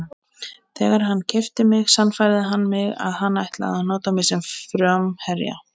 Þegar hann keypti mig sannfærði hann mig að hann ætlaði að nota mig sem framherja.